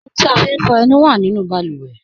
Ọ̀huǹ ti a fín fọ ẹ̀nù wà nínu bàlúwẹ̀